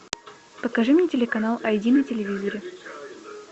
покажи мне телеканал айди на телевизоре